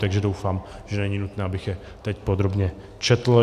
Takže doufám, že není nutné, abych je teď podrobně četl.